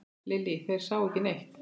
Lillý: Þeir sáu ekki neitt?